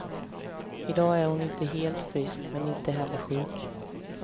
I dag är hon inte helt frisk, men inte heller sjuk.